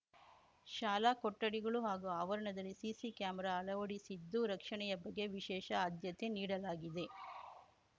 ಶಾಲಾ ಕೊಠಡಿಗಳು ಹಾಗೂ ಆವರಣದಲ್ಲಿ ಸಿಸಿ ಕ್ಯಾಮೆರಾ ಅಳವಡಿಸಿದ್ದು ರಕ್ಷಣೆಯ ಬಗ್ಗೆ ವಿಶೇಷ ಆದ್ಯತೆ ನೀಡಲಾಗಿದೆ